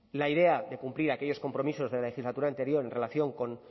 la idea de cumplir aquellos compromisos de la legislatura anterior en relación con